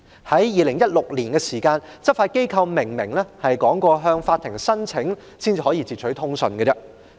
在2016年，執法機構明言要先向法庭申請，才可截取通訊。